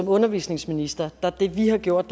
og undervisningsministeriet har gjort